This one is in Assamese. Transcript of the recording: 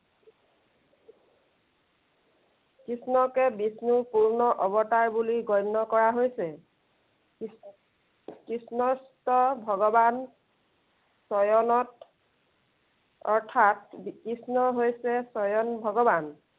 কৃষ্ণকে বিষ্ণুৰ পূৰ্ণ অৱতাৰ বুলি গণ্য় কৰা হৈছে। কৃষ্ণস্থ ভগৱান স্বয়ণত অৰ্থাৎ কৃষ্ণ হৈছে স্বয়ং ভগৱান।